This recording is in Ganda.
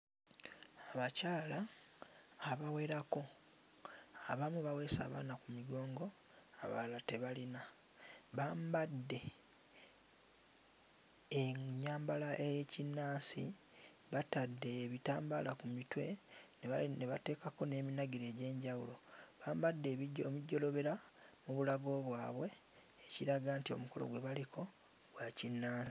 Abakyala abawerako abamu baweese abaana ku migongo abalala tebalina. Bambadde ennyambala ey'ekinnansi batadde ebitambaala ku mitwe ne ba ne bateekako n'eminagiro egy'enjawulo bambadde ebijo omujolobera mu bulago bwabwe ekiraga nti omukolo gwe bwaliko gwa kinna.